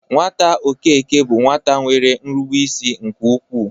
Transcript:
Nwata Okeke bụ nwata nwere nrubeisi nke ukwu.